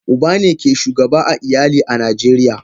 Uba ne ke shugaba a iyali a najeriya.